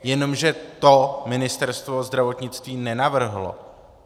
Jenomže to Ministerstvo zdravotnictví nenavrhlo.